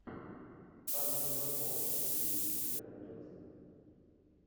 анна михалкова фильмик у тебя найдется